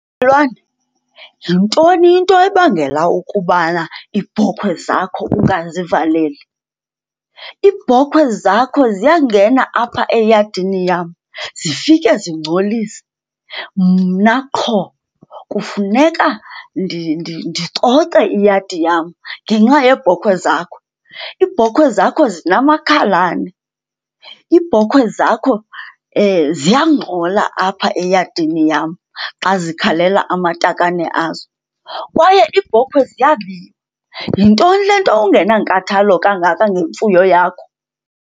Mmelwane, yintoni into ebangela ukubana iibhokhwe zakho ungazivaleli? Iibhokhwe zakho ziyangena apha eyadini yam zifike zingcolise, mna qho kufuneka ndicoce iyadi yam ngenxa yeebhokhwe zakho. Iibhokhwe zakho zinamakhalane. Iibhokhwe zakho ziyangxola apha eyadini yam xa zikhalela amatakane azo, kwaye iibhokhwe ziyabiwa. Yintoni le nto ungenankathalo kangaka ngemfuyo yakho?